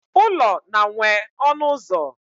Ụlọ na nwe ọnụ ụzọ